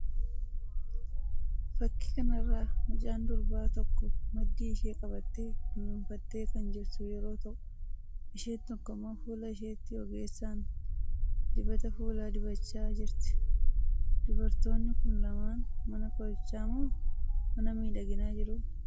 Fakkii kana irraa mucaan durbaa tokko maddii ishee qabatte dunuunfattee kan jirtu yeroo ta'u, isheen tokko immoo fuula isheetti ogeessaan dibata fuulaa dibachaa jirti? Dubartoonni kun lamaan mana qorichaa moo mana miidhaginaa jiru?